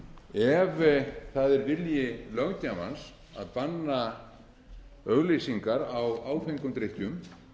ef það er vilji löggjafans að banna auglýsingar á áfengum drykkjum